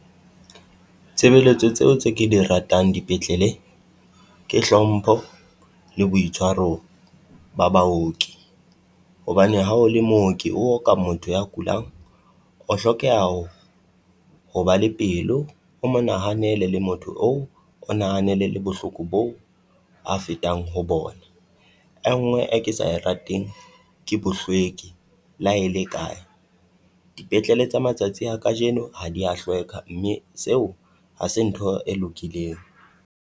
Tshebeletso tseo tse ke di ratang dipetlele ke hlompho le boitshwaro ba baoki. Hobane ha o le mooki o oka motho ya kulang o hlokeha ho ho ba le pelo, o mo nahanele le motho oo o nahanele le bohloko boo a fetang ho bona. E nngwe e ke sa rateng ke bohlweki la e le kae. Dipetlele tsa matsatsi a kajeno ha dia hlweka mme seo ha se ntho e lokileng.